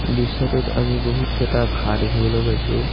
দৃশ্যটোত আমি বহুত কেইটা ঘাঁহ দেখিবলৈ পাইছোঁ।